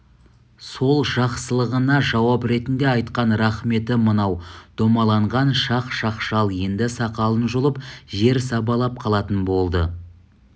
сол жақсылығына жауап ретінде айтқан рақметі мынау домаланған шақ-шақшал енді сақалын жұлып жер сабалап қалатын болды